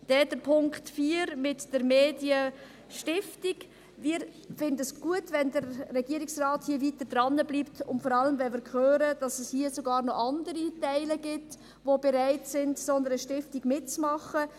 Dann zum Punkt 4 mit der Medienstiftung: Wir finden es gut, wenn der Regierungsrat hier weiter dranbleibt, vor allem wenn wir hören, dass es hier sogar noch andere Teile sind, die bei einer solchen Stiftung mitmachen …